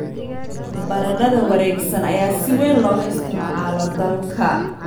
Baradhada wareegsan ayaa si weyn looga isticmaalo dalka.